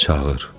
Çağır.